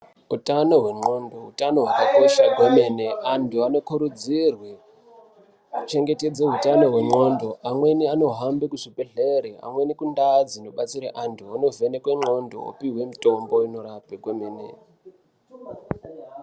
Utano wendxondo utano hwakakosha kwenene antu anokurudzirwa kuchengetedze utano wendxondo amweni anohambe kuzvibhehlere amweni kundazi anobatsira antu ovhenekwe ndxondo upuwa mitombo inorapa kwemene.